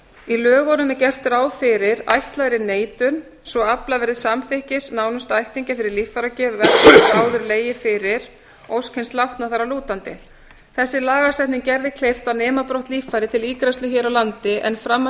í lögunum er gert ráð fyrir ætlaðri neitun svo afla verður samþykkis nánustu ættingja fyrir líffæragjöf ef ekki hefur áður legið fyrir ósk hins látna þar að lútandi þessi lagasetning gerði kleift að nema brott líffæri til ígræðslu hér á landi en fram að því